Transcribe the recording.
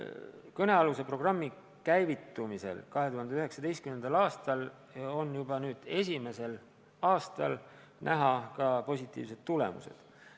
Kõnealuse programmi käivitumisel 2019. aastal on juba nüüd, esimesel aastal näha ka positiivsed tulemused.